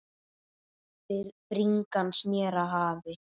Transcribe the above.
Bringan sneri að hafi.